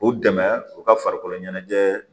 U dɛmɛ u ka farikoloɲɛnajɛ